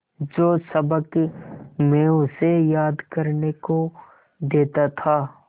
जो सबक मैं उसे याद करने को देता था